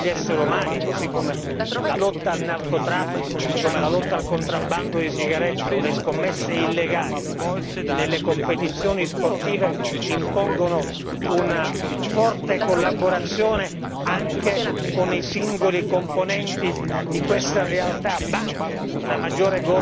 Così come la lotta al narcotraffico, così come la lotta al contrabbando di sigarette o le scommesse illegali nelle competizioni sportive, impongono una forte collaborazione anche con i singoli componenti di questa realtà banche, una maggiore governance bancaria.